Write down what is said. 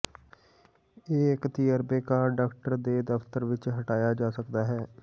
ਇਹ ਇੱਕ ਤਜਰਬੇਕਾਰ ਡਾਕਟਰ ਦੇ ਦਫਤਰ ਵਿਚ ਹਟਾਇਆ ਜਾ ਸਕਦਾ ਹੈ